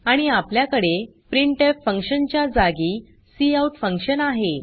आणि आपल्याकडे printf function च्या जागी काउट फंक्शन आहे